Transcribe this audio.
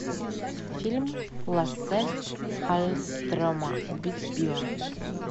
фильм лассе халльстрема убить билла